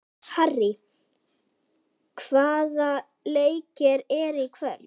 Harrý, hvaða leikir eru í kvöld?